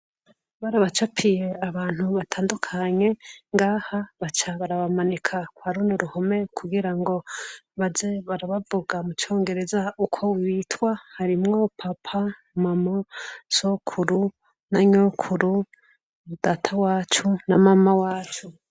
Barabacapiye abantu batandukanye ngaha, baca barabamanika kwa runo ruhume kugira ngo baze barabavuga mu congereza uko bitwa harimwo papa, mama, sokuru na nyokuru na data wacu na mama wacu.